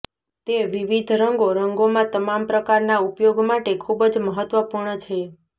તે વિવિધ રંગો રંગોમાં તમામ પ્રકારના ઉપયોગ માટે ખૂબ જ મહત્વપૂર્ણ છે